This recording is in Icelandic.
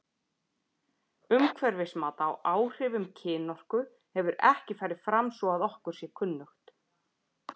Umhverfismat á áhrifum kynorku hefur ekki farið fram svo að okkur sé kunnugt.